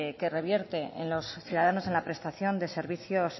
que revierte en los ciudadanos en la prestación de servicios